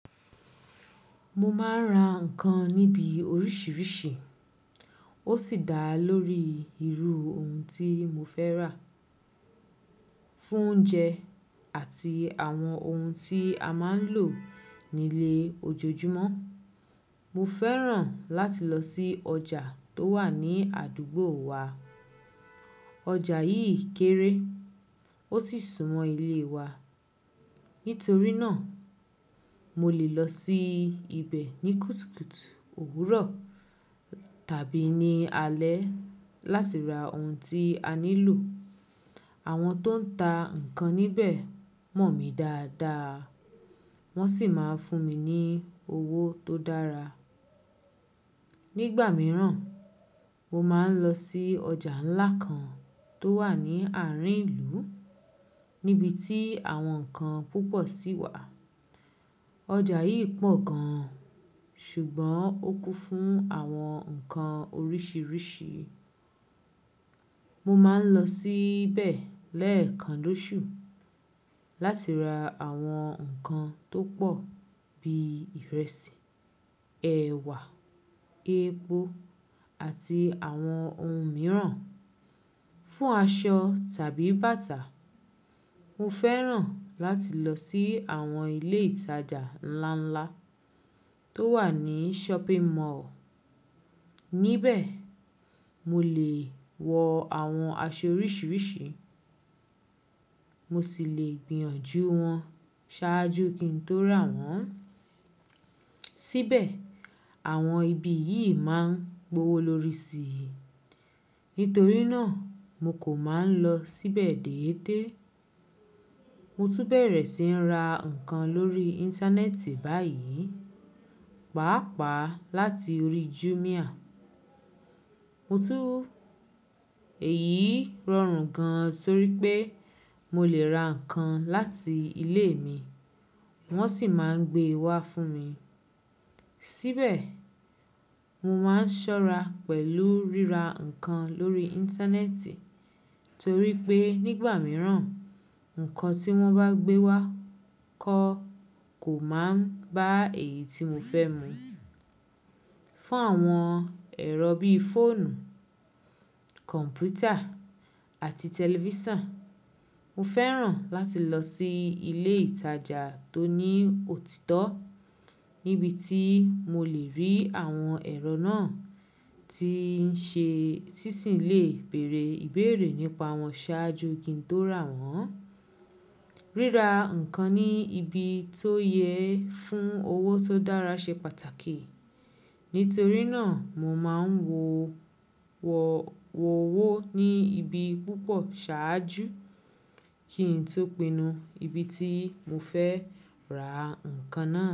Mo máa ń ra ǹnkan níbi oríṣìíríṣìí, ó sì dá lórí irú ohun tí mo fẹ́ rà. Fún oúnjẹ àti àwọn ohun tí a máa ń lò nílé ojoojúmọ́, mo fẹ́ràn láti lọ sí ọjà tó wà ní àdúgbò wa. Ọjà yìí kéré ó sì súnmọ́ ilé wa. Nítorí náà, mo lè lọ sí ibẹ̀ ní kùtùkùtù òwúrọ̀ tàbí ní alẹ́ láti ra ohun tí a nílò. Àwọn tó ń ta ǹnkan níbẹ̀ mọ̀ mí dáadáa, wọ́n sì máa ń fún mi ní owó tó dára. Nígbà mìíràn, mo máa ń lọ sí ọjà ńlá kan tó wà ní àárín ìlú níbi tí àwọn ǹnkan púpọ̀ sì wà. Ọjà yìí pọ̀ gan-an ṣùgbọ́n ó kún fún àwọn ǹkan oríṣìíríṣìí. Mo máa ń lọ síbẹ̀ lẹ́ẹ̀kan lóṣù láti ra àwọn nǹkan tó pọ̀ bíi ìrẹsì, ẹ̀wà, epo àti àwọn ohun mìíràn. Fún aṣọ tàbí bàtà, mo fẹ́ràn láti lọ sí àwọn ilé ìtajà ńlá ńlá tó wà ní shopping mall. Níbẹ̀, mo lè wọ àwọn aṣọ oríṣìíríṣìí, mo sì lè gbìyànjú wọn ṣáájú kí n tó rà wọ́n. Síbẹ̀, àwọn ibi yìí máa ń gbowó lórí si, nítorí náà mo kò máa ń lọ síbẹ̀ déédé. Mo tún bẹ̀rẹ̀ sí ń ra ǹnkan lórí Íńtánẹ́ẹ̀tì báyìí, pàápàá láti orí Jumia. Mo túń ẹ̀ yìí rọrùn gan-an torí pé mo lè ra ǹnkan láti ilé mi wọ́n sì máa ń gbé wá fún mi. Síbẹ̀, mo máa ń ṣọ́ra pẹ̀lú ríra ǹnkan lórí Íńtánẹ́ẹ̀tì torí pé nígbà mìíràn ǹnkan tí wọ́n bá gbé wá kọ́ kò máa ń bá èyí tí mo fẹ́ mu. Fún àwọn ẹ̀rọ bíí fóònù, kọ̀m̀pútà àti tẹlifíṣàn, mo fẹ́ràn láti lọ sí ilé ìtajà tó ní òtítọ́ níbi tí mo lè rí àwọn ẹ̀rọ náà tí ń ṣe, títì lè bèèrè ìbéèrè nípa wọn ṣáájú kí n tó rà wọ́n. Ríra ǹnkan ní ibi tó yẹ fún owó tó dára ṣe pàtàkì, nítorí náà mo máa ń wọ̀ wọ̀ wò ó wó ní ibi púpọ̀ ṣáájú kí n tó pinnu ibi tí mo fẹ́ ra ǹnkan náà.